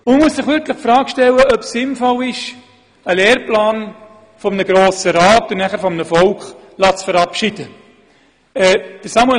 Man muss sich wirklich die Frage stellen, ob es sinnvoll ist, einen Lehrplan von einem Grossen Rat und anschliessend vom Volk verabschieden zu lassen.